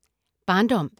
Barndom